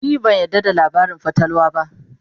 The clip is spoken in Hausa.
ni ban yarda da labarin fatalwa ba